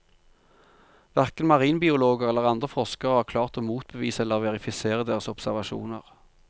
Hverken marinbiologer eller andre forskere har klart å motbevise eller verifisere deres observasjoner.